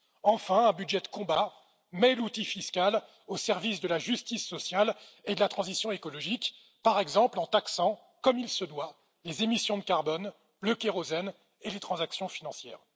Enfin, un budget de combat met l'outil fiscal au service de la justice sociale et de la transition écologique, par exemple en taxant comme il se doit les émissions de carbone, le kérosène et les transactions financières.